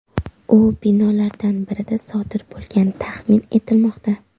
U binolardan birida sodir bo‘lgani taxmin etilmoqda.